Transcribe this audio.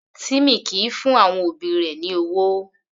Timmy kìí fún àwọn òbí rẹ̀ ní ọwọ́.